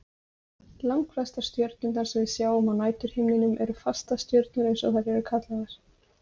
Langflestar stjörnurnar sem við sjáum á næturhimninum eru fastastjörnur eins og þær eru kallaðar.